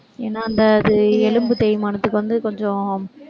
ஏன்னா, அந்த அது எலும்பு தேய்மானத்துக்கு வந்து கொஞ்சம்